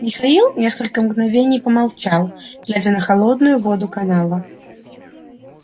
михаил несколько мгновений помолчал глядя на холодную воду канала